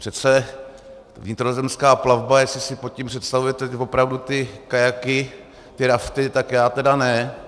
Přece vnitrozemská plavba, jestli si pod tím představujete opravdu ty kajaky, ty rafty, tak já tedy ne.